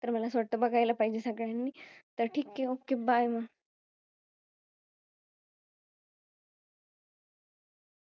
तर मला असं वाटत बघायला पाहिजे सगळ्यांनी. तर ठीक आहे. OkayBye